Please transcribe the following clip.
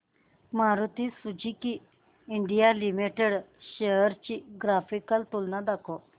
Maruti Suzuki India limited shares ची graphical तुलना दाखव